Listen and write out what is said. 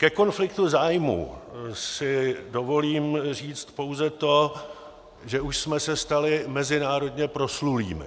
Ke konfliktu zájmů si dovolím říci pouze to, že už jsme se stali mezinárodně proslulými.